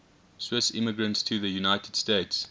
swiss immigrants to the united states